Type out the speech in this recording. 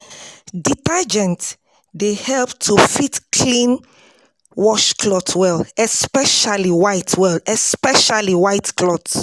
Detergent dey help to fit clean wash cloth well, especially white well, especially white cloth